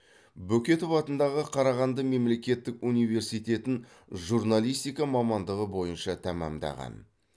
бөкетов атындағы қарағанды мемлекеттік университетін журналистика мамандығы бойынша тәмамдаған